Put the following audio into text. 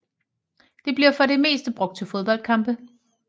Det bliver for det meste brugt til fodboldkampe